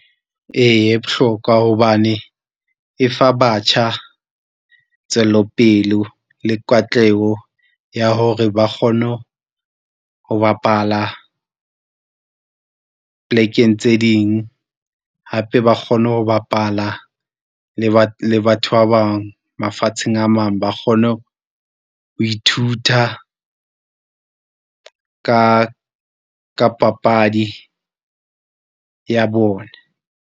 Eya, e bohlokwa hobane e fa batjha tswellopele le katleho ya hore ba kgone ho bapala polekeng tse ding, hape ba kgone ho bapala le le batho ba bang mafatsheng a mang. Ba kgone ho ithuta ka, ka papadi ya bona.